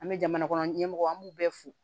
An bɛ jamana kɔnɔ ɲɛmɔgɔ an b'u bɛɛ fo